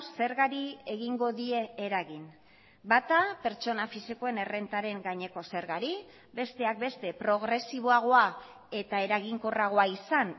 zergari egingo die eragin bata pertsona fisikoen errentaren gaineko zergari besteak beste progresiboagoa eta eraginkorragoa izan